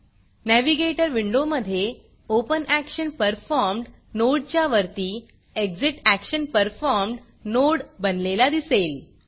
navigator विंडोमधे OpenActionPerformed नोडच्या वरती एक्झिटॅक्शनपरफॉर्म्ड नोड बनलेला दिसेल